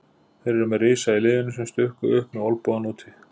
Þeir eru með risa í liðinu sem stukku upp með olnbogana úti.